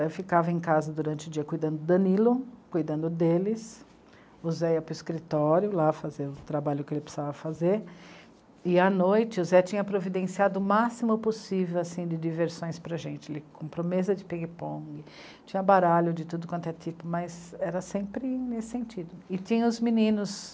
Eu ficava em casa durante o dia cuidando do Danilo, cuidando deles, o Zé ia para o escritório lá fazer o trabalho que ele precisava fazer, e à noite o Zé tinha providenciado o máximo possível assim, de diversões para a gente, ele comprou mesa de ping-pong, tinha baralho de tudo quanto é tipo, mas era sempre nesse sentido, e tinha os meninos